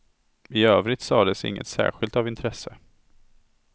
I övrigt sades inget särskilt av intresse.